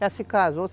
Já se casou.